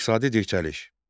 İqtisadi tənəzzül.